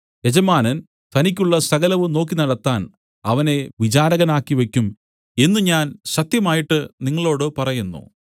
യജമാനൻ തനിക്കുള്ള സകലവും നോക്കി നടത്താൻ അവനെ വിചാരകനാക്കിവെക്കും എന്നു ഞാൻ സത്യമായിട്ട് നിങ്ങളോടു പറയുന്നു